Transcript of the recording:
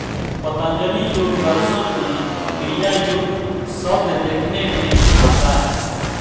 पतंजलि योगदर्शन में क्रियायोग शब्द देखने में आता है